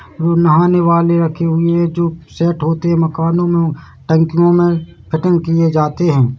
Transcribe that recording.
नहाने वाले रखे हुए है जो सेट होते है मकानों मे टंकियों मे कटिंग किए जाते हैं।